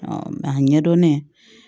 mɛ a ɲɛdɔnnen